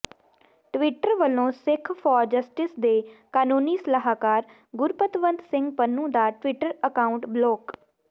Twitter ਵੱਲੋਂ Sikh for Justice ਦੇ ਕਾਨੂੰਨੀ ਸਲਾਹਕਾਰ ਗੁਰਪਤਵੰਤ ਸਿੰਘ ਪੰਨੂ ਦਾ ਟਵਿੱਟਰ ਅਕਾਊਂਟ ਬਲੌਕ